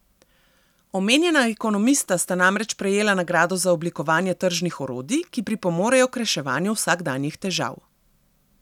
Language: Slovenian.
Omenjena ekonomista sta namreč prejela nagrado za oblikovanje tržnih orodij, ki pripomorejo k reševanju vsakdanjih težav.